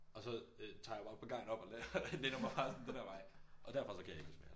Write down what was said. Og så øh tager jeg jo bare pagajen op og læner mig bare sådan den her vej og derfra kan jeg ikke huske mere